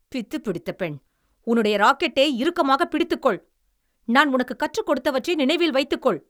பித்துப்பிடித்த பெண். உன்னுடைய ராக்கெட்டை இறுக்கமாகப் பிடித்துக்கொள். நான் உனக்குக் கற்றுக்கொடுத்தவற்றை நினைவில் வைத்துக்கொள்.